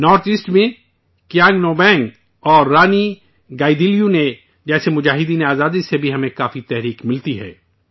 north East میں کیانگ نوبانگ اور رانی گائی دنلیو جیسے مجاہدین آزادی سے بھی ہمیں کافی حوصلہ ملتا ہے